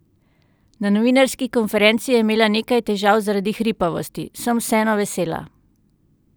Na novinarski konferenci je imela nekaj težav zaradi hripavosti: "Sem vseeno vesela.